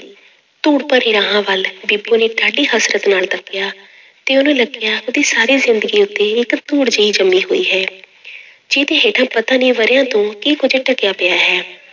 ਧੂੜ ਭਰੇ ਰਾਹਾਂ ਵੱਲ, ਬੀਬੋ ਨੇ ਡਾਢੀ ਹਸਰਤ ਨਾਲ ਤੱਕਿਆ ਤੇ ਉਹਨੂੰ ਲੱਗਿਆ, ਉਹਦੀ ਸਾਰੀ ਜ਼ਿੰਦਗੀ ਉਤੇ ਇੱਕ ਧੂੜ ਜਿਹੀ ਜੰਮੀ ਹੋਈ ਹੈ ਜਿਹਦੇ ਹੇਠਾਂ ਪਤਾ ਨੀ ਵਰ੍ਹਿਆਂ ਤੋਂ ਕੀ ਕੁੱਝ ਢਕਿਆ ਪਿਆ ਹੈ।